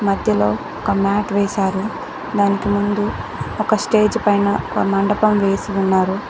ఇందులో ఒక మ్యాట్ వేసారు దానికి ముందు ఒక స్టేజ్ పైన ఒక మండపం వేసి ఉన్నారు.